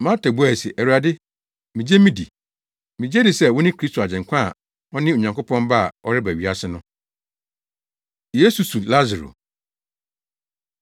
Marta buae se, “Awurade, migye midi. Migye di sɛ wone Kristo Agyenkwa a ɔne Onyankopɔn Ba a ɔreba wiase no.” Yesu Su Lasaro